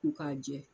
Ko k'a jɛ